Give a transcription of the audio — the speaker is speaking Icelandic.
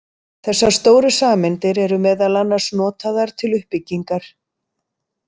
Þessar stóru sameindir eru meðal annars notaðar til uppbyggingar.